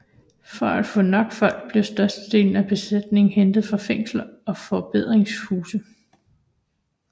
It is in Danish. For at få nok folk blev størstedelen af besætningen hentet fra fængsler og forbedringshuse